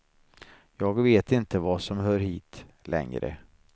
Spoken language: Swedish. Jag vet inte vad som hör hit, längre.